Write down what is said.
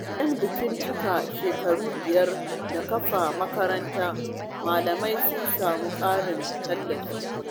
Bayan bikin cikar shekara biyar da kafa makaranta, malaman sun sami ƙarin tallafi.